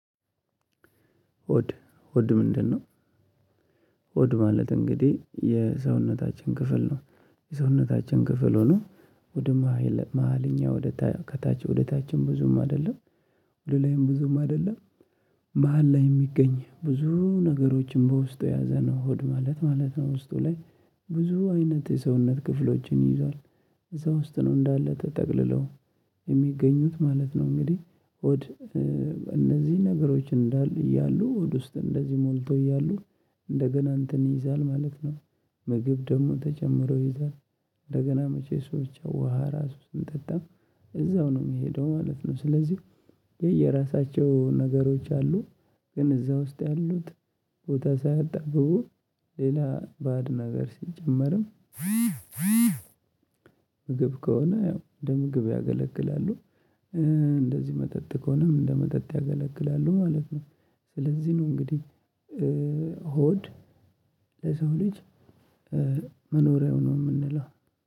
ሆድ ሆድ ምንድነው? ሆድ ማለት እንግዲህ የሰውነታችን ክፍል ነው የሰውነታችን ክፍል ሆኖ ወደ መሃልኛ ወደ ከታች ወደ ታችም ብዙም አይደለም ወደ ላይም ብዙም አይደለም መሃል ላይ የሚገኝ ብዙ ነገሮችን በውስጡ የያዘነው ሆድ ማለት ማለት ነው። ውስጡ ላይ ብዙ አይነት የሰውነት ክፍሎችን ይይዛል እዛ ውስጥ ነው እንዳለ ተጠቅልለው የሚገኙት ማለት ነው። እንግዲህ ሆድ እነዚህ ነገሮች እንዳሉ እያሉ ውስጥ እንደዚህ ሞልቶ እያሉ እንደገና እንትን ይይዛል ማለት ነው። ምግብ ደግሞ ተጨምሮ ይይዛል። እንደገና መቼ ሰዎች ውሃ ራሱን ጠጣ እዛው ነው የሚሄደው ማለት ነው። ስለዚህ የየራሳቸው ነገሮች አሉ። ግን እዛ ውስጥ ያሉት ቦታ ሳያጣብቡ ሌላ ባእድ ነገር ሲጨመርም ምግብ ከሆነ ያው እደምግብ ያገለግላሉ። እንደዚህ መጠጥ ከሆነም እንደመጠጥ ያገለግላሉ ማለት ነው። ስለዚህ ነው እንግዲህ ሆድ ለሰው ልጅ መኖሪያው ነው ምንለው።